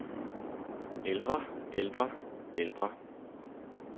ældre ældre ældre